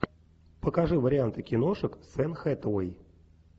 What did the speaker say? покажи варианты киношек с энн хэтэуэй